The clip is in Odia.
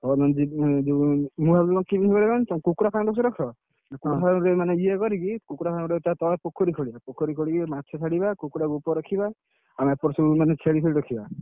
ହଉ ମୁଁ ଯିବି କୁକୁଡ଼ା ରଖ? କୁକୁଡ଼ା ଫାର୍ମ କରିକି ତା ତଳେ ପୋଖରୀ ଖୋଳିବ ପୋଖରୀ ଖୋଲିକି ମାଛ ଛାଡ଼ିବ କୁକୁଡ଼ାକୁ ଉପରେ ରଖିବା, ଆଉ ଏପଟେ ସବୁମାନେ ଛେଳି ଫେଳି ରଖିବା।